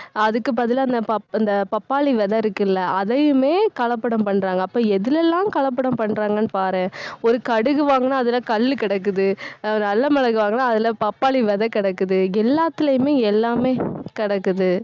அதுக்கு பதிலா, அந்த பப்~ அந்த பப்பாளி விதை இருக்குல்ல அதையுமே கலப்படம் பண்றாங்க அப்ப எதுலெல்லாம் கலப்படம் பண்றாங்கன்னு பாரேன். ஒரு கடுகு வாங்குனா அதுல கல்லு கிடக்குது. ஆஹ் நல்ல மிளகு வாங்குனா அதுல பப்பாளி விதை கிடக்குது. எல்லாத்துலயுமே எல்லாமே கிடக்குது